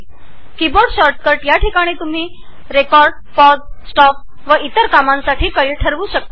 की बोर्ड शॉर्टकटमध्ये तुम्ही रेकॉर्ड पॉज स्टॉप आणि इतर कीज ठरवू शकता